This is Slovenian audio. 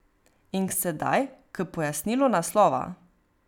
In sedaj k pojasnilu naslova.